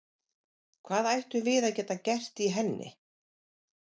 Hvað ættum við að geta gert í henni?